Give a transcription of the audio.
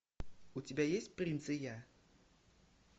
у тебя есть принц и я